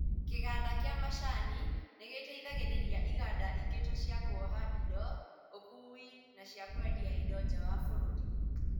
Kĩganda kĩa macani nĩgĩteithagĩrĩria iganda ingĩ ta cia kuoha indo, ũkui na cia kwendia indo nja wa bũrũri